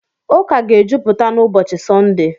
Ụka ga-ejupụta n'ụbọchị Sọnde.